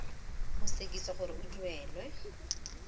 go sekisa gore o duelwe